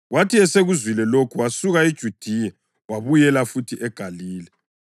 Kwathi esekuzwile lokho, wasuka eJudiya wabuyela futhi eGalile.